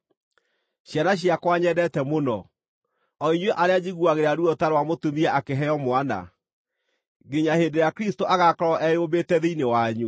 Ciana ciakwa nyendete mũno, o inyuĩ arĩa njiguagĩra ruo ta rwa mũtumia akĩheo mwana, nginya hĩndĩ ĩrĩa Kristũ agaakorwo eyũmbĩte thĩinĩ wanyu,